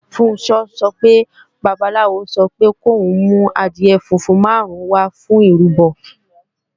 Funṣọ́ sọ pé babaláwo sọ pé kòún mú adìẹ funfun máàrún wá fún ìrúbọ